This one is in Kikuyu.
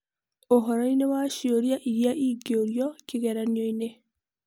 ũhoro-inĩ wa cioria iria ingĩũrio kĩgeranio-inĩ.